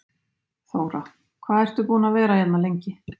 Þóra: Hvað ertu búinn að vera hérna lengi?